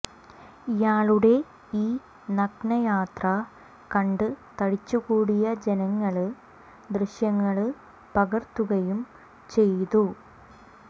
ഇയാളുടെ ഈ നഗ്ന യാത്ര കണ്ട് തടിച്ചുകൂടിയ ജനങ്ങള് ദൃശ്യങ്ങള് പകര്ത്തുകയും ചെയ്തു